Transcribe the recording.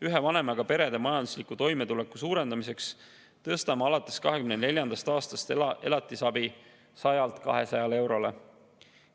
Ühe vanemaga perede majandusliku toimetuleku parandamiseks tõstame alates 2024. aastast elatisabi 100-lt 200 eurole.